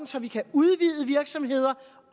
så vi kan udvide virksomheder